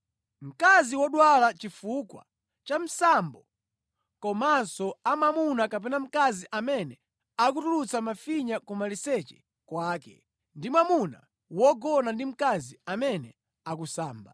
mkazi wodwala chifukwa cha msambo komanso a mwamuna kapena mkazi amene akutulutsa mafinya kumaliseche kwake ndi mwamuna wogona ndi mkazi amene akusamba.